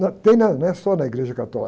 Não, tem na, não é só na Igreja Católica.